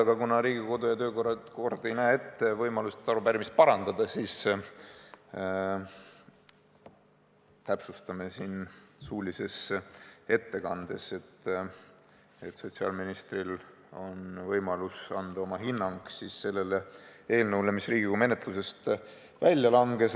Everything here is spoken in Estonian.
Aga kuna Riigikogu kodu- ja töökord ei näe ette võimalust arupärimist parandada, siis täpsustame siin suulises ettekandes, et sotsiaalministril on võimalus anda oma hinnang sellele eelnõule, mis Riigikogu menetlusest välja langes.